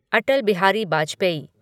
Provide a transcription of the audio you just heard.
Atal Bihari Vajpayee